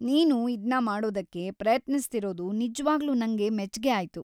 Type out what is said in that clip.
ನೀನು ಇದ್ನ ಮಾಡೋದಕ್ಕೆ ಪ್ರಯತ್ನಿಸ್ತಿರೋದು ನಿಜ್ವಾಗ್ಲೂ ನಂಗ್‌ ಮೆಚ್ಗೆ ಆಯ್ತು.